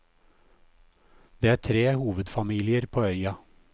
Det er tre hovedfamilier på øya.